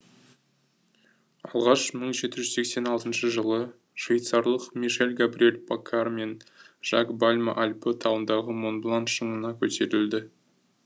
алғаш мың жеті жүз сексен алтыншы жылы швейцарлық мишель габриэль паккар мен жак бальма альпі тауындағы монблан шыңына көтерілді